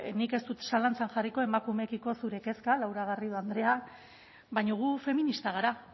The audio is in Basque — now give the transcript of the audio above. nik ez dut zalantzan jarriko emakumeekiko zure kezka laura garrido andrea baina gu feministak gara